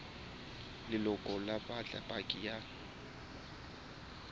leloko ba batla paki ya